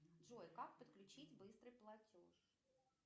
джой как подключить быстрый платеж